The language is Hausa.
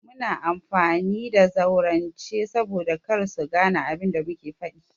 Muna amfani da zaurance saboda kar su gane abin da muke faɗi.